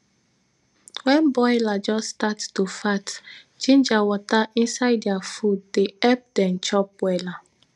wen broiler just stat to fat ginger water inside dia food dey epp dem chop wella